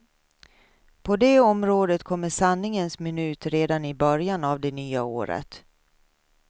På det området kommer sanningens minut redan i början av det nya året.